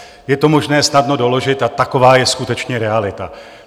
Je to možné snadno doložit a taková je skutečně realita.